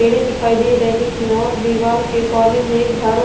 बेड़े दिखाई दे रहे हैं और दीवार के कोने में एक झाड़ू--